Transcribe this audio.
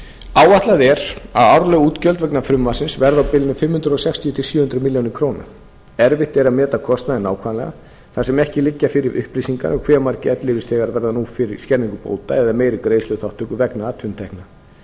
áætlað er að árleg útgjöld vegna frumvarpsins verði á bilinu fimm hundruð sextíu til sjö hundruð milljóna króna erfitt er að meta kostnaðinn nákvæmlega þar sem ekki liggja fyrir upplýsingar um hve margir ellilífeyrisþegar verða nú fyrir skerðingu bóta eða meiri greiðsluþátttöku vegna atvinnutekna